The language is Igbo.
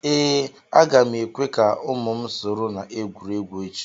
ee, a ga m ekwe ka ụmụ m soro na egwuregwu echi